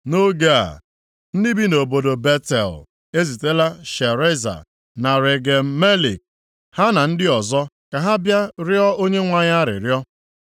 Nʼoge a, ndị bi nʼobodo Betel ezitela Shareza, na Regem Melek, ha na ndị ọzọ ka ha bịa rịọọ Onyenwe anyị arịrịọ,